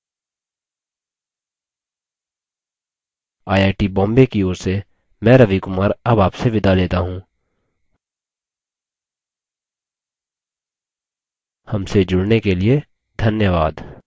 I I T Bombay की ओर से मैं रवि कुमार अब आपसे विदा लेता हूँ हमसे जुड़ने के लिए धन्यवाद